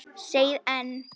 Segið EN.